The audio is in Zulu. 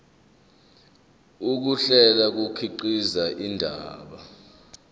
ukuhlela kukhiqiza indaba